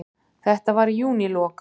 Þetta var í júnílok.